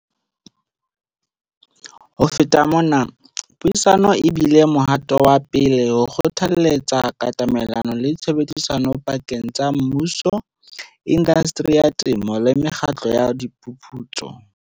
Ho feta mona, puisano e bile mohato wa pele o kgothaletsang katamelano le tshebedisano pakeng tsa mmuso, indasteri ya temo le mekgatlo ya diphuputso.